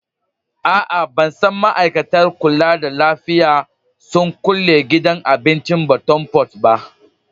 Aa, ban san ma'aikatar kulla da lafiya sun kulle gidan abincin Bottom pot ba.